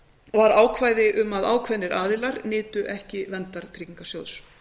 var ákvæði um að ákveðnir aðilar nytu ekki verndar tryggingasjóðs